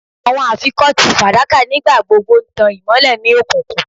Awọn afikọti fadaka nigbagbogbo n tan imọlẹ ni okunkun